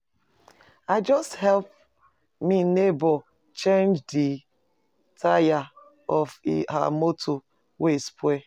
I just help me nebor change di taya of her motor wey spoil.